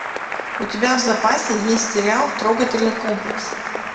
у тебя в запасе есть сериал трогательный комплекс